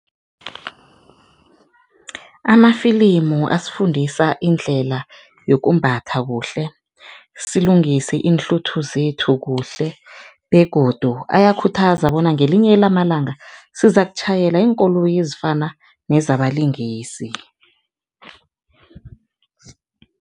Amafilimu asifundisa indlela yokumbatha kuhle, silungise iinhluthu zethu kuhle begodu ayakhuthuza bona ngelinye lamalanga sizakutjhayela iinkoloyi ezifana nezabalingisi.